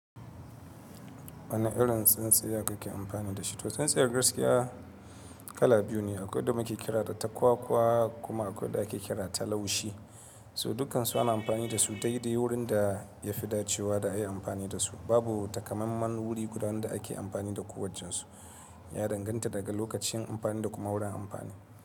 Wane irin tsintsiya kake amfani da shi? To, tsintsiyar gaskiya kala biyu ne. Akwai wadda muke kiranta ta kwakwa kuma akwai wadda ake kira ta laushi. So dukkansu ana amfani da su daidai wurin da ya fi dacewa da a yi amfani da su. Babu takamaiman wuri guda ɗaya da ake amfani da kowaccen su. Ya danganta daga lokacin amfani da kuma wurin amfani.